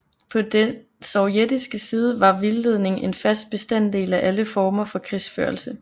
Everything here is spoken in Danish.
På den sovjetiske side var vildledning en fast bestanddel af alle former for krigsførelse